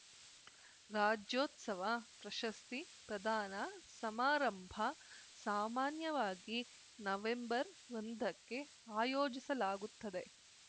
ರಾಜ್ಯೋತ್ಸವ ಪ್ರಶಸ್ತಿ ಪ್ರದಾನ ಸಮಾರಂಭ ಸಾಮಾನ್ಯವಾಗಿ ನವೆಂಬರ್ಒಂದಕ್ಕೆ ಆಯೋಜಿಸಲಾಗುತ್ತದೆ